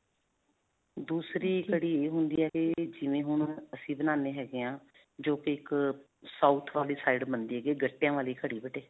ਦੂਸਰੀ ਕੜੀ ਇਹ ਹੁੰਦੀ ਹੈ, ਜਿਵੇਂ ਹੁਣ ਅਸੀਂ ਬਣਾਉਂਦੇ ਹੈਗੇ ਹਾਂ ਜੋ ਕਿ ਇਕ South ਵਾਲੀ side ਬਣਦੀ ਹੈਗੀ ਆ ਗੱਟਿਆਂ ਵਾਲੀ ਕੜੀ ਬੇਟੇ.